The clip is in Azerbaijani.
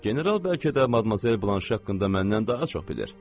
General bəlkə də Madmazel Blanşe haqqında məndən daha çox bilir.